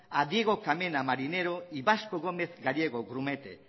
a diego carmena marinero y vasco gómez gallego grumete